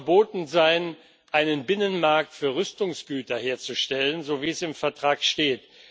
Es kann nicht verboten sein, einen Binnenmarkt für Rüstungsgüter herzustellen, so wie es im Vertrag steht.